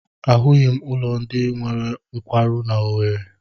Ahụghị m ụlọ ndị nwere nkwarụ n'Owere.